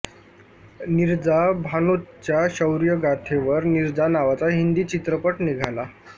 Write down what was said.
नीरजा भानोतच्या शौर्यगाथेवर नीरजा नावाचा हिंदी चित्रपट निघाला